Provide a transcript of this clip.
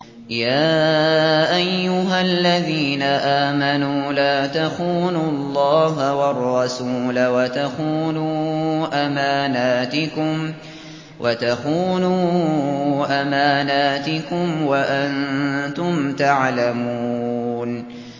يَا أَيُّهَا الَّذِينَ آمَنُوا لَا تَخُونُوا اللَّهَ وَالرَّسُولَ وَتَخُونُوا أَمَانَاتِكُمْ وَأَنتُمْ تَعْلَمُونَ